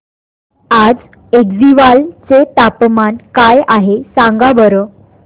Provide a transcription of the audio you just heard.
आज ऐझवाल चे तापमान काय आहे सांगा बरं